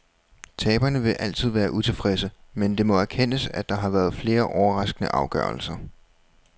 Taberne vil altid være utilfredse, men det må erkendes, at der har været flere overraskende afgørelser.